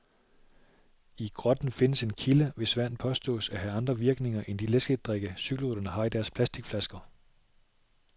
I grotten findes en kilde, hvis vand påstås at have andre virkninger end de læskedrikke, cykelryttere har i deres plasticflasker.